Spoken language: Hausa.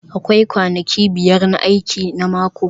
Akwai kwanaki biyar na aiki na mako